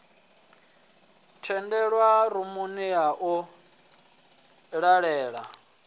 tendelwa rumuni ya u vhalela